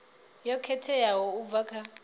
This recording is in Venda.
yo khetheaho u bva kha